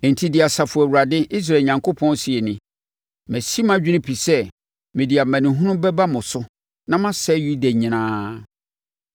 “Enti, deɛ Asafo Awurade, Israel Onyankopɔn seɛ nie: Masi mʼadwene pi sɛ mede amanehunu bɛba mo so na masɛe Yuda nyinaa.